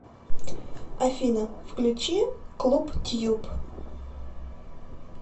афина включи клуб тьюб